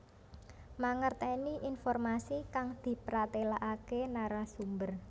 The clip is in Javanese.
Mangertèni informasi kang dipratélakaké narasumber